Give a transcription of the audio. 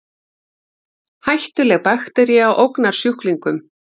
Hættuleg baktería ógnar sjúklingum